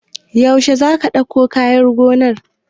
Yaushe za ka ɗauko kayan gonan?